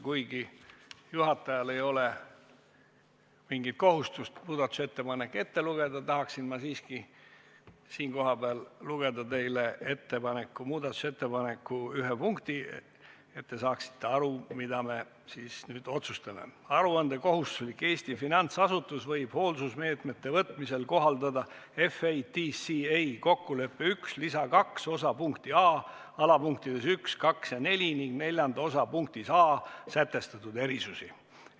Kuigi juhatajal ei ole mingit kohustust muudatusettepanekut ette lugeda, tahaksin siiski lugeda teile ette muudatusettepaneku ühe punkti, et te saaksite aru, mida me siis nüüd otsustame: "Aruandekohustuslik Eesti finantsasutus võib hoolsusmeetmete võtmisel kohaldada FATCA kokkuleppe I lisa II osa punkti A alapunktides 1, 2 ja 4 ning IV osa punktis A sätestatud erisusi.